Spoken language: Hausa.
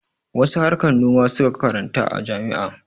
Wasu harkar noma su ka karanta a jami'a.